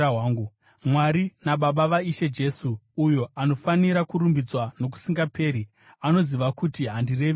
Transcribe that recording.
Mwari naBaba vaIshe Jesu, uyo anofanira kurumbidzwa nokusingaperi, anoziva kuti handirevi nhema.